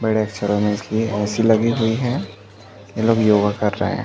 बड़े शहरो में इसलिए एक ए.सी लगी हुई है ये लोग योगा कर रहे हैं।